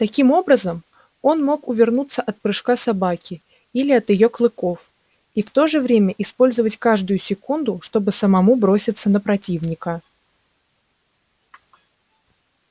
таким образом он мог увернуться от прыжка собаки или от её клыков и в то же время использовать каждую секунду чтобы самому броситься на противника